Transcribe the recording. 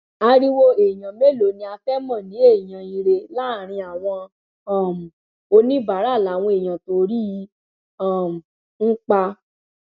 ariwo èèyàn mélòó ni á fẹẹ mọ ní èèyàn ire láàrin àwọn um oníbàárà làwọn èèyàn tó rí i um ń pa